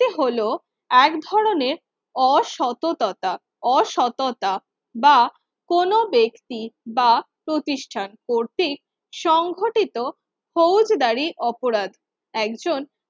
এটি হল এক ধরনের অসততা অসততা বা কোন ব্যক্তির বা কোন প্রতিষ্ঠান কর্তৃক সংঘটিত ফৌদব্যারি অপরাধ একজন